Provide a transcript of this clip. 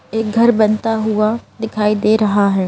एक घर बनता हुआ दिखाई दे रहा है।